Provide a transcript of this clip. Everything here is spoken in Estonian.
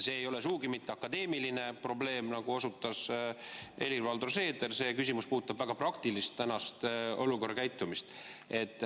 See ei ole sugugi mitte akadeemiline probleem, nagu ütles Helir-Valdor Seeder, vaid see küsimus puudutab praeguses olukorras väga praktilist käitumist.